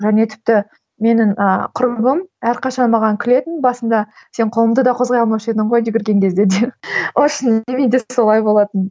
және тіпті менің ыыы құрбым әрқашан маған күлетін басында сен қолыңды да қозғай алмаушы едің ғой жүгірген кезде деп солай болатын